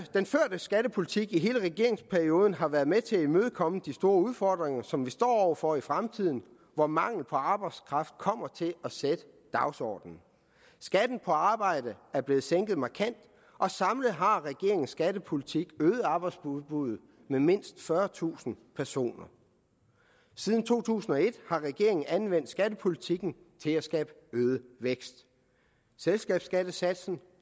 skattepolitik i hele regeringsperioden har været med til at imødekomme de store udfordringer som vi står over for i fremtiden hvor mangel på arbejdskraft kommer til at sætte dagsordenen skatten på arbejde er blevet sænket markant og samlet har regeringens skattepolitik øget arbejdsudbuddet med mindst fyrretusind personer siden to tusind og et har regeringen anvendt skattepolitikken til at skabe øget vækst selskabsskattesatsen